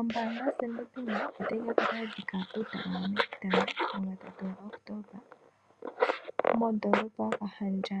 Ombaanga yoStandard bank otayi ka kala yathika metitano mugatatu gaOctomba modoolopa yaKahamdja